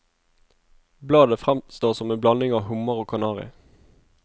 Bladet fremstår som en blanding av hummer og kanari.